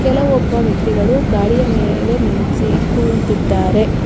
ಕೆಲವೊಬ್ಬ ವ್ಯಕ್ತಿಗಳು ಗಾಡಿಯ ಮೇಲೆ ನಿಂಟ್ಸಿ ಕುಳಿಕೊಳ್ಳುತ್ತಿದ್ದಾರೆ.